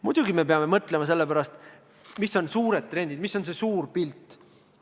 Muidugi, me peame mõtlema selle üle, millised on valdavad trendid, milline on suur pilt.